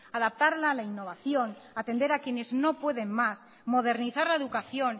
adaptarla a la innovación atender a quienes no pueden más modernizar la educación